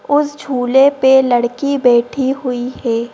उस झूले पे लड़की बैठी हुई है।